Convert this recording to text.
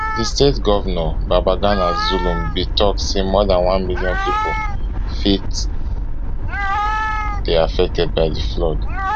di state govnor babagana zulum bin tok say more dan one million pipo fit dey affected by di flood